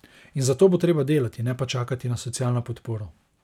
In za to bo treba delati, ne pa čakati na socialno podporo.